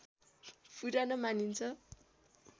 पुरानो मानिन्छ